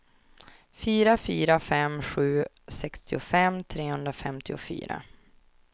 fyra fyra fem sju sextiofem trehundrafemtiofyra